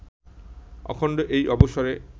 অখণ্ড এই অবসরে